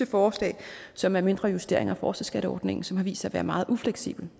forslaget som er mindre justeringer af forskerskatteordningen som har vist sig at være meget ufleksibel